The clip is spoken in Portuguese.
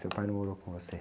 Seu pai não morou com você?